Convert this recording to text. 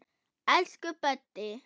Elsku Böddi.